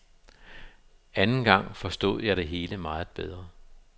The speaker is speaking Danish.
Anden gang forstod jeg det hele meget bedre.